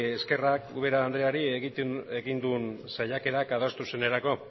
eskerrak ubera andreari egin duen saiakera adostasunerako